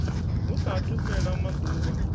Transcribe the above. hu sa athu fhela maḓuvha